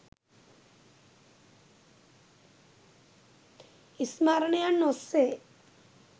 ස්මරණයන් ඔස්සේ